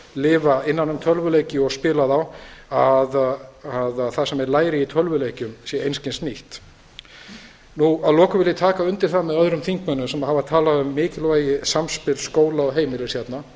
lifa innan um tölvuleiki og spila þá að það sem þeir læri í tölvuleikjum sé einskis nýtt að lokum vil ég taka undir það með öðrum þingmönnum sem hafa talað um mikilvægi samspils skóla og heimilis hérna